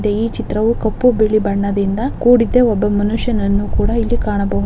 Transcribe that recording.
ಈ ಚಿತ್ರಾವು ಕಪ್ಪು ಬಿಳಿ ಬಣ್ಣದಿಂದ ಕೂಡಿದೆ ಒಬ್ಬ ಮನುಷ್ಯನನ್ನು ಕೂಡ ಇಲ್ಲಿ ಕಾಣಬಹು--